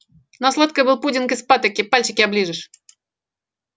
на сладкое был пудинг из патоки пальчики оближешь